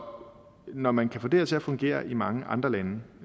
når man kan få det her til at fungere i mange andre lande